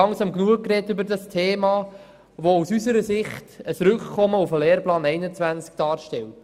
Aus unserer Sicht stellt dieses Anliegen ein Rückkommen auf den Lehrplan 21 dar.